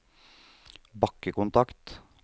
bakkekontakt